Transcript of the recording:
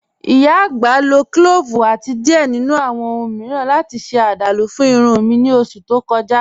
Ìyá agbá ló clọ́ọ́vu àti diẹ̀ nínu awọn ọ̀hun miiran láti ṣe àdálú fún ìrùn mi ní oṣù tó kọ̀ja.